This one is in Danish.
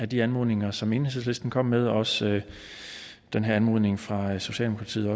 de anmodninger som enhedslisten kom med der er også anmodningen fra socialdemokratiet